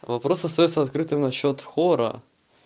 вопрос остаётся открытым на счёт хора